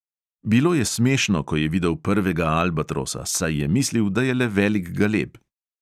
Bilo je smešno, ko je videl prvega albatrosa, saj je mislil, da je le velik galeb.